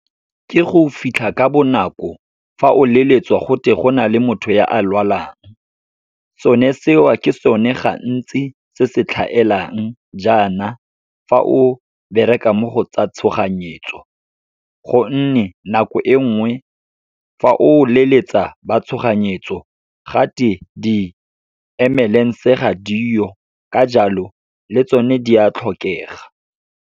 Ke go fitlha ka bonako, fa o leletswa fa go te go na le motho ya a lwalang. Sone seo, ke sone gantsi se se tlhaelang jaana, fa o bereka mo go tsa tshoganyetso. Gonne nako e nngwe, fa o leletsa ba tshoganyetso gate di-ambulance-e ga diyo, ka jalo le tsone di a tlhokega.